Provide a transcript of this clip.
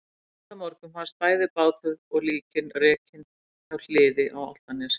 En næsta morgun fannst bæði bátur og líkin rekin hjá Hliði á Álftanesi.